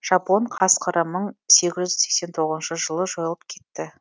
жапон қасқыры мың сегіз жүз сексен тоғызыншы жылы жойылып кетті